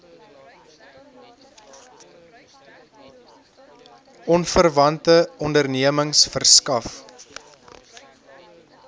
onverwante ondernemings verskaf